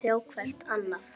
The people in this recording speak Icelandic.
Sjá hvert annað.